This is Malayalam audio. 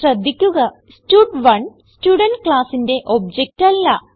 ശ്രദ്ധിക്കുക സ്റ്റഡ്1 സ്റ്റുഡെന്റ് classന്റെ ഒബ്ജക്ട് അല്ല